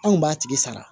Anw kun b'a tigi sara